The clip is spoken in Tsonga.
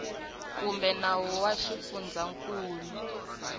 kumbe nawu wa xifundzankulu lowu